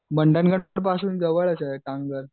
मंडनगढपासून जवळच आहे तामगगड.